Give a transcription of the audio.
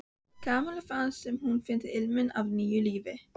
Kamilla fannst sem hún fyndi ilminn af nýju lífi.